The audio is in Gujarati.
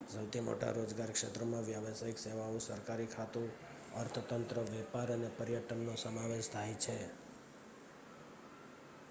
સૌથી મોટા રોજગાર ક્ષેત્રોમાં વ્યાવસાયિક સેવાઓ સરકારી ખાતું અર્થતંત્ર વેપાર અને પર્યટનનો સમાવેશ થાય છે